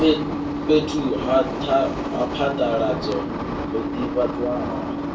fhethu ha phaḓaladzo ho ḓivhadzwaho